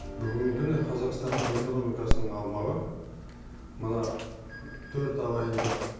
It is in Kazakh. бүгінгі күні қазақстанның экономикасының аумағы мына төрт ағайынды